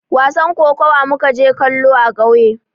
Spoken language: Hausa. Wasan kokawa mu ka je kallo a kauye